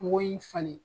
Mugu in falen